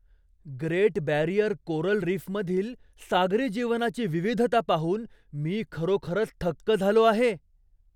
Great Barrier coral रीफमधील सागरी जीवनाची विविधता पाहून मी खरोखरच थक्क झालो आहे.